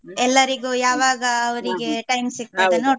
ಎಲ್ಲರಿಗು ಯಾವಾಗ ಅವರಿಗೆ time ಸಿಗ್ತಾದ ನೋಡುವ.